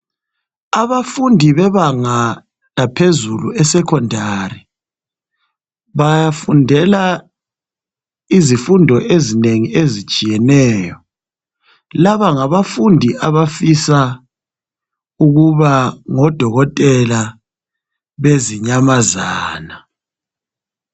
abafundi bebanga laphezulu e secondary bafundela izifundo ezinengi ezitshiyeneyo laba ngabafundi abafisa ukuba ngo dokotela bezinyamazana